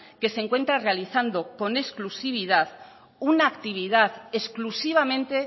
que se encuentra realizando con exclusividad una actividad exclusivamente